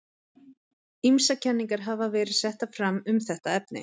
Ýmsar kenningar hafa verið settar fram um þetta efni.